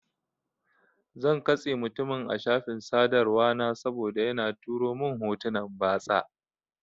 Zan katse mutumin a shafin sadarwa na saboda yana turo mun hotunan batsa.